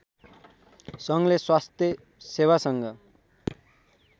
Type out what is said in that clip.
सङ्घले स्वास्थ्य सेवा सँग